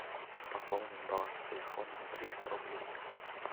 пополнить баланс телефона на триста рублей